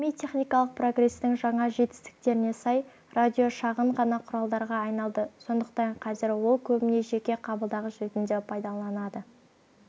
ғылыми-техникалық прогрестің жаңа жетістіктеріне сай радио шағын ғана құралға айналды сондықтан қазір ол көбіне жеке қабылдағыш ретінде пайдаланылатын